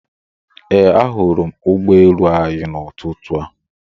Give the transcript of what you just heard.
Ee, ahụrụ m ụgbọ elu anyị n'ụtụtụ a